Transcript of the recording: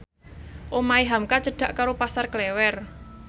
omahe hamka cedhak karo Pasar Klewer